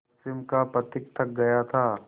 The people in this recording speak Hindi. पश्चिम का पथिक थक गया था